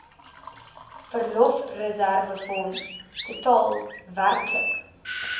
verlofreserwefonds totaal werklik